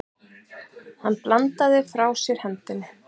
Hann bandaði frá sér hendinni.